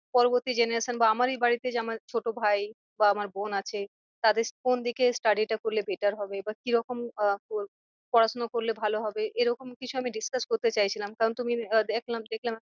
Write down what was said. পরবর্তী generation বা আমারই বাড়িতে যে আমার ছোটো ভাই বা আমার বোন আছে। তাদের কোন দিকে study টা করলে better হবে। বা কি রকম আহ পড়া শোনা করলে ভালো হবে? এরকম কিছু আমি discuss করতে চাইছিলাম কারণ তুমি দেখলাম দেখলাম